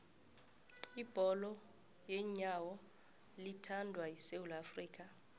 ibholo leenyawo liyathandwa esewula afrika